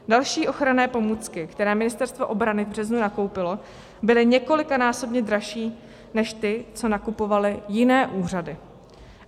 Další ochranné pomůcky, které Ministerstvo obrany v březnu nakoupilo, byly několikanásobně dražší než ty, co nakupovaly jiné úřady.